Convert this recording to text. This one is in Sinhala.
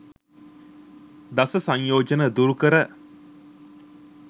දස සංයෝජන දුරු කර